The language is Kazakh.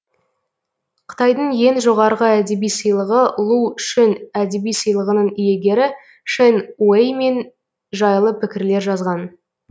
қытайдың ең жоғарғы әдеби сыйлығы лу шүн әдеби сыйлығының иегері шэн уэй мен жайлы пікірлер жазған